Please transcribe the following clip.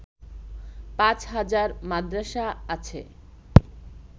পাঁচ হাজার মাদ্রাসা আছে